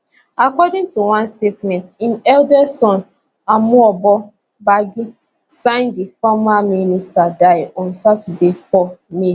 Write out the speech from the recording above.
according to one statement im eldest son emuoboh gbagi sign di former minister die on saturday 4 may